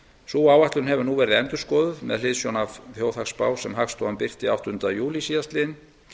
sú áætlun hefur nú verið endurskoðuð með hliðsjón af þjóðhagsspá sem hagstofan birti áttunda júlí síðastliðinn